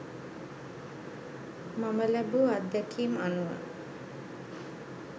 මම ලැබූ අත්දැකීම් අනුව